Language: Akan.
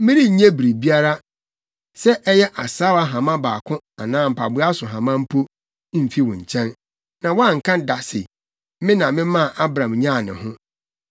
Merennye biribiara, sɛ ɛyɛ asaawa hama baako anaa mpaboa so hama mpo, mfi wo nkyɛn, na woanka da sɛ, ‘Me na memaa Abram nyaa ne ho.’